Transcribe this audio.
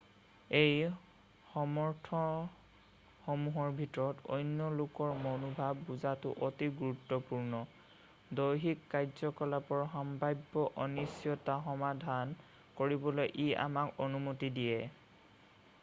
এই সামৰ্থ্যসমূহৰ ভিতৰত অন্য লোকৰ মনোভাৱ বুজাটো অতি গুৰুত্বপূৰ্ণ দৈহিক কাৰ্য-কলাপৰ সাম্ভাব্য অনিশ্চতাৰ সমাধান কৰিবলৈ ই আমাক অনুমতি দিয়ে